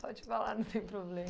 pode falar, não tem problema.